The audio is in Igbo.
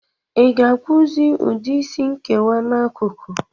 Ị ga-akpụzi ụdị Ịsị nkewa n'akụkụ?